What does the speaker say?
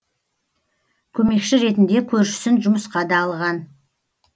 көмекші ретінде көршісін жұмысқа да алған